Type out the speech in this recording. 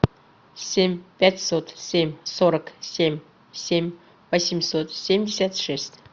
семь пятьсот семь сорок семь семь восемьсот семьдесят шесть